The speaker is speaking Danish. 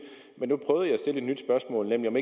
men nu prøvede jeg at stille et nyt spørgsmål nemlig om